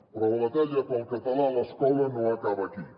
però la batalla pel català a l’escola no acaba aquí